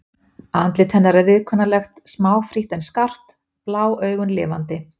Andlit hennar er viðkunnanlegt, smáfrítt en skarpt, blá augun lifandi.